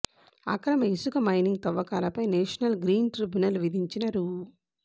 అక్రమ ఇసుక మైనింగ్ తవ్వకాలపై నేషనల్ గ్రీన్ ట్రిబ్యునల్ విధించిన రూ